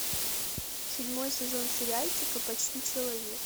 седьмой сезон сериальчика почти человек